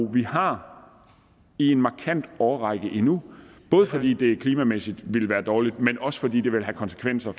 vi har i en markant årrække endnu både fordi det klimamæssigt vil være dårligt men også fordi det vil have konsekvenser